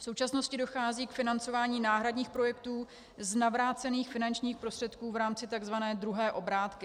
V současnosti dochází k financování náhradních projektů z navrácených finančních prostředků v rámci takzvané druhé obrátky.